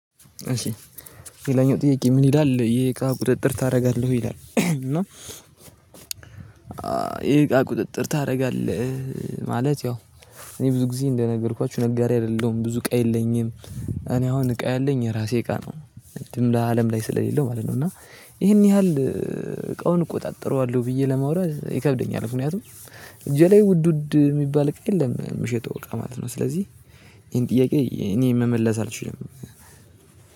እሺ ሌላኛው ጥያቄ ምን ይላል የእቃ ቁጥጥር ታደርጋለህ ወይ? ይላል እና የእቃ ቁጥጥር ታደርጋለህ ማለት ያው እኔ ብዙ ጊዜ እንደነገርኳችሁ ነጋዴ አይደለሁም ብዙ እቃ የለኝም። እኔ አሁን እቃ ያለኝ የራሴ እቃ ነው እንትኑ ላይ አለም ላይ ስለሌለሁ ማለት ነው። እና ይሄን ያህል እቃውን እቆጣጥረዋለሁ ብዬ ለማውራት ይከብደኛል። ምክንያቱም እጄ ላይ ውድ ውድ የሚባል እቃ የለም ምሸጠው እቃ ማለት ነው። ስለዚህ ይሄን ጥያቄ እኔ መመለስ አልችልም